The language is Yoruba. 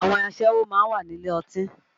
Àwọn aṣẹ́wó máa ń wà nílé ọtí